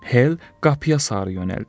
Hel qapıya sarı yönəldi.